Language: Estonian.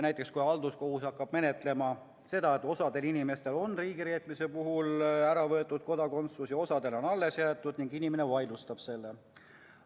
Näiteks, kui halduskohus hakkab menetlema seda, et osal inimestel on riigireetmise eest kodakondsus ära võetud ja osal on alles jäetud, ning inimene vaidlustab selle.